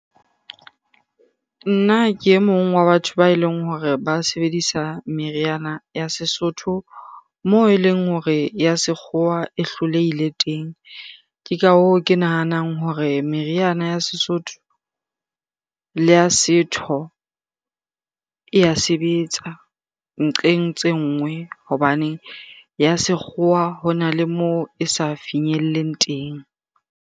Nna ke e mong wa batho ba eleng hore ba sebedisa meriana ya sesotho, moo eleng hore ya sekgowa e hlolehile teng. Ke ka hoo, ke nahanang hore meriana ya sesotho le ya setho e ya sebetsa nqeng tse nngwe hobane ya sekgowa hona le moo e sa finyelleng teng.